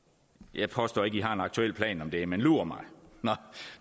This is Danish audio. jeg påstår ikke en aktuel plan om det men lur mig